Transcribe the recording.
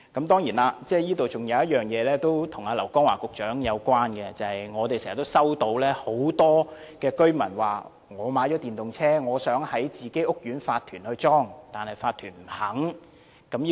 當然，還有一點是跟劉江華局長有關的，就是經常有很多居民告訴我們，他們買了電動車，想在自己屋苑安裝充電站，但法團不允許這樣做。